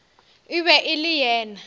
e be e le yena